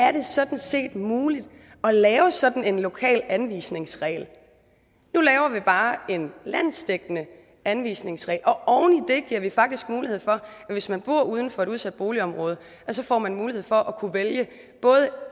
er det sådan set muligt at lave sådan en lokal anvisningsregel nu laver vi bare en landsdækkende anvisningsregel og oven i det giver vi faktisk mulighed for at hvis man bor uden for et udsat boligområde får man mulighed for at kunne vælge både